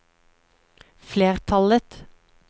flertallet